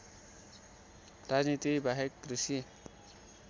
राजनीति बाहेक कृषि